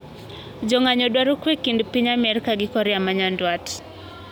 Jong`anyoo dwaro kwee kind piny Amerka gi Korea manyandwat.